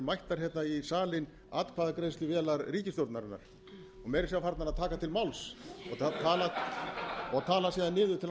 mættar í salinn atkvæðagreiðsluvélar ríkisstjórnarinnar og meira að segja farnar að taka til máls og tala síðan niður til